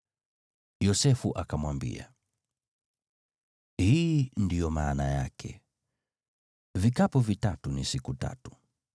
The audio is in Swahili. Yosefu akamwambia, “Hii ndiyo maana yake: Vikapu vitatu ni siku tatu.